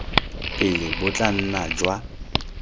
pele bo tla nna jwa